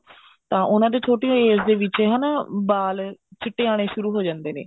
ਤਾਂ ਉਹਨਾ ਦੇ ਛੋਟੀ ਓ age ਦੇ ਵਿੱਚ ਹਨਾ ਬਾਲ ਚਿੱਟੇ ਆਉਣੇ ਸ਼ੁਰੂ ਹੋ ਜਾਂਦੇ ਨੇ